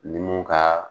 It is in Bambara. Ni mun ka